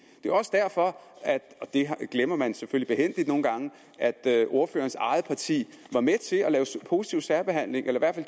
det er også derfor og det glemmer man selvfølgelig nogle gange at at ordførerens eget parti var med til at lave positiv særbehandling eller i